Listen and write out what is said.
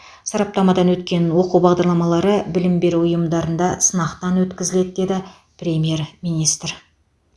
сараптамадан өткен оқу бағдарламалары білім беру ұйымдарында сынақтан өткізіледі деді премьер министр